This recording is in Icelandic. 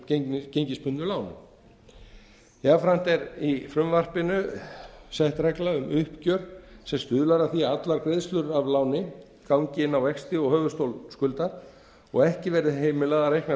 ólögmætu gengisbundnu láni jafnframt er í frumvarpinu sett regla um uppgjör sem stuðlar að því að allar greiðslur af láni gangi inn á vexti og höfuðstól skuldar og ekki verði heimilað að reikna